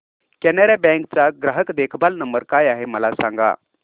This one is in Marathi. कॅनरा बँक चा ग्राहक देखभाल नंबर काय आहे मला सांगा